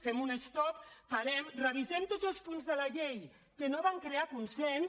fem un stop parem revisem tots els punts de la llei que no van crear consens